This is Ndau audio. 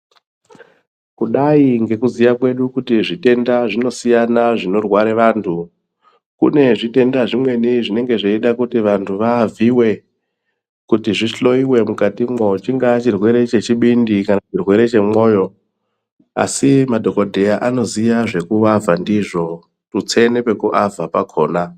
Kudai ngekuziya kwedu kuti zvitenda zvinosiyana zvinorware vantu kune zvitenda zvimweni zvinenge zveide kuti vantu vavhiyiwe kuti zvihloyiwe mukatimwo chingaa chirwere chechibindi kana chirwere chemwoyo asi madhokodheya anoziye zvekuavha ndizvo tutse nepekuavha pakona.